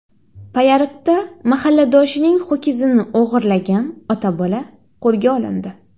Payariqda mahalladoshining ho‘kizini o‘g‘irlagan ota-bola qo‘lga olindi.